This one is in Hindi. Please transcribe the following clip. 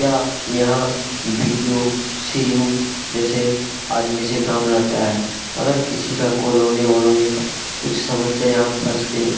यह यहाँ B D O C. O. जैसे आदमी से काम रहता है । अगर किसी का कोलोनी -वोलोनी का कुछ समस्या यहाँ फंस के निक --